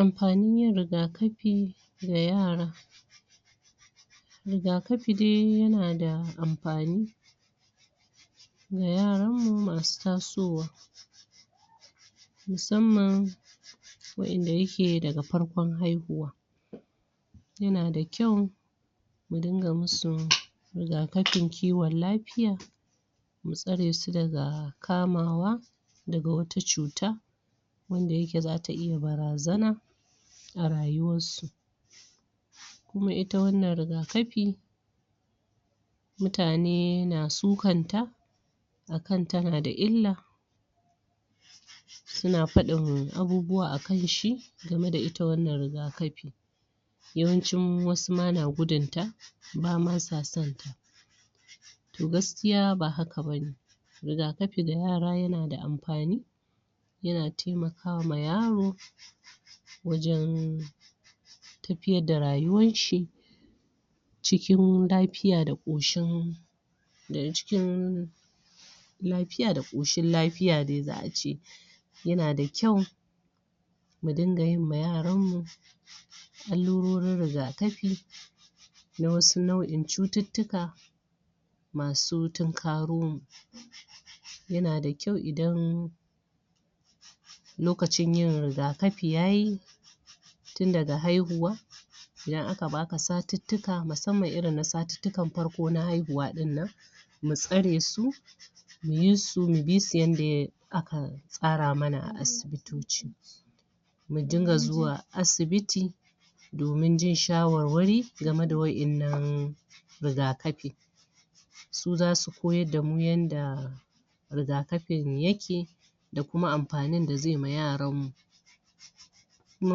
Amfanin yin riga kafi ga yara riga kafi dai yana da amfani. ga yaranmu masu tasowa musamman waɗanda yake daga farkon haihuwa. yana da ƙyau mu dinga musu riga kafin kiwon lafiya mu tsare su daga kamawa daga wata cuta wanda yake za ta iya barazana a rayuwarsu. kuma ita wannan riga kafi mutane na sukanta a kan tana da illa sunan faɗin abubuwa a kanshi game da ita wannan riga kafin. yawancin wasu ma na gudun ta ba ma sa sonta to gaskiya ba haka ba ne riga kafi ga yara yana da amfani yana taimaka ma yaro wajen tafiyar da rayuwan shi cikin lafiya da ƙoshin daga cikin lafiya da ƙoshin lafiya dai za a ce yana da ƙyau mu dinga yi ma yaranmu allurorin riga kafi na wasu nau'in cututtuka masu tunkaro mu yana da kyau idan lokacin yin riga kafi ya yi tun daga haihuwa idan aka ba ka satittika musamman irin na satittikan farko na haihuwa ɗin nan mu tsare su mu yi su, mu bi su yanda aka tsara mana a asibitoci. mu dinga zuwa asibiti, domin jin shawarwari game da waɗannan riga kafi su za su koyar da mu yanda riga kafin yake da kuma amfanin da zai ma yaranmu. Kuma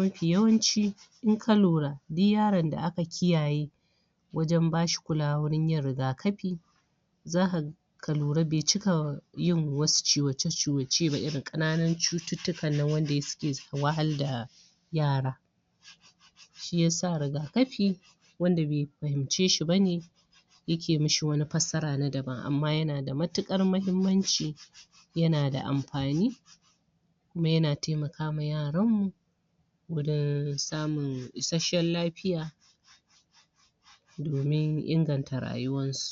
mafi yawanci in ka lura duk yaron da aka kiyaye wajen ba shi kulawa wurin yin riga kafi za ka ka lura bai cika yin wasu ciwace ciwace ba irin ƙananun cututtukan nan wanda suke wahalda yara shi ya sa riga kafi wanda bai fahimce shi ba ne yake mashi wani fassara na daban amma yana da matuƙar muhimmanci yana da amfani kuma yana taimaka wa yaran mu wurin samun isasshen lafiya domin inganta rayuwarsu.